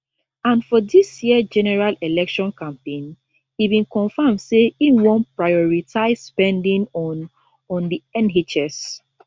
and for dis year general election campaign e bin confam say im wan prioritise spending on on di nhs